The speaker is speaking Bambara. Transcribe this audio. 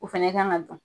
O fɛnɛ kan ka dun